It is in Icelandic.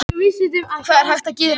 Hvað er hægt að gera